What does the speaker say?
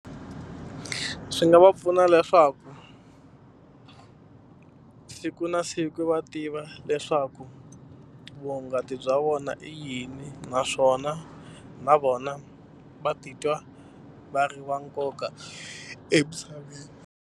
Swi nga va pfuna leswaku siku na siku va tiva leswaku vuhungasi bya vona i yini naswona na vona va titwa va ri va nkoka emisaveni.